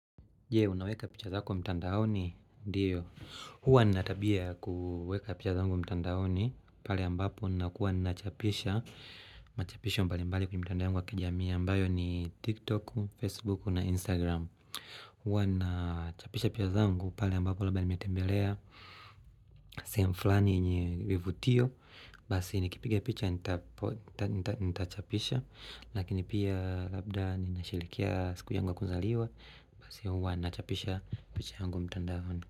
Je, unaweka picha zako mtandaoni? Ndio. Hua ninatabia ya kuweka picha zangu mtandaoni, pale ambapo nakuwa nachapisha. Machapisho mbali mbali kwenye mitandao yangu wa kijamii ambayo ni TikTok, Facebook na Instagram. Hua ninachapisha picha zangu pale ambapo labda nimetembelea. Sehemu fulani yenye vivutio Basi nikipiga picha, nitachapisha. Lakini pia labda ninasherehekea siku yangu wa kuzaliwa. Basi hua na chapisha picha yangu mtandaoni.